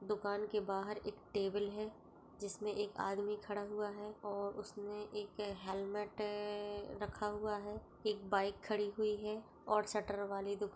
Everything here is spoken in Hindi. दुकान के बाहर एक टेबल हैं जिसमें एक आदमी खड़ा हुआ हैं और उसने एक हेल्मेट रखा हुआ हैं एक बाइक खड़ी हुई हैं और शटर वाली दो--